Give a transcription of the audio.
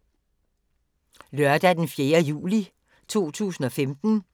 Lørdag d. 4. juli 2015